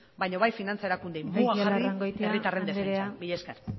baino bai finantza erakundeei boa jarri herritarren defentsan mila esker